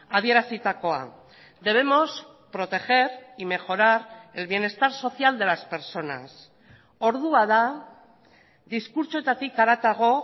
adierazitakoa debemos proteger y mejorar el bienestar social de las personas ordua da diskurtsoetatik haratago